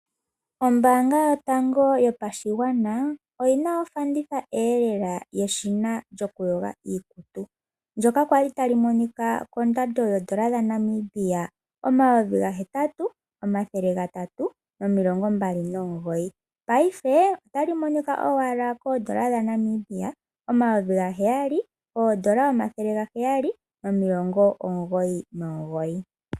Ombanga yotango yopashigwana oyina ofanditha elela yeshina lyokuyoga. Ndjoka kwali tali monika kondando yodollar dhaNamibia omathele omayovi gahetatu omathele gatatu nomilongo mbali nomugoyi. Payife otali monika owala koodollar dhaNamibia omayovi gaheyali odollar omathele gaheyali nomilongo omugoyi nomugoyi.